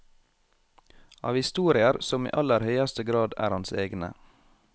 Av historier som i aller høyeste grad er hans egne.